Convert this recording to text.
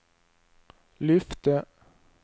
lyfte